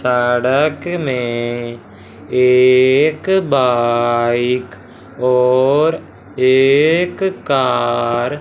सड़क में एक बाइक और एक कार --